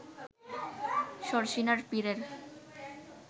শর্ষিনার পীরের